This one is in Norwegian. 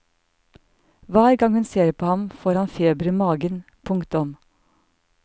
Hver gang hun ser på ham får han feber i magen. punktum